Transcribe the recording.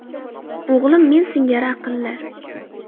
O‘g‘lim men singari aqlli.